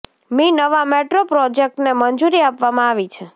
મી નવા મેટ્રો પ્રોજેક્ટને મંજુરી આપવામાં આવી છે